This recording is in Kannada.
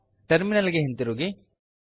ಟರ್ಮಿನಲ್ ಗೆ ಹಿಂತಿರುಗಿ